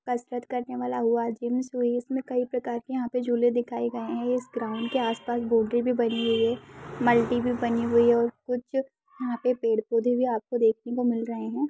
कसरत करने वाला हुआ जिम सुई इसमें कई प्रकार के यहाँ पे झूले दिखाए गए है इस ग्राउंड के आस-पास बाउंड्री भी बनी हुई है मल्टी भी बनी हुई है और कुछ यहाँ पे पेड़-पौधे भी आपको देखने को मिल रहे हैं।